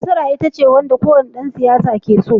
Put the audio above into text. Nasara ita ce kowane dan siyasa ke so